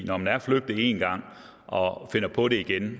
når man er flygtet én gang og finder på det igen